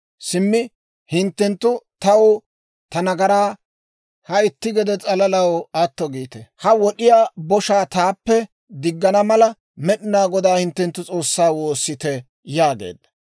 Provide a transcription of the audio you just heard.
simmi hinttenttu taw ta nagaraa ha itti gede s'alalaw atto giite; ha wod'd'iyaa boshaa taappe diggana mala, Med'inaa Godaa hinttenttu S'oossaa woossite» yaageedda.